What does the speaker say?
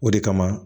O de kama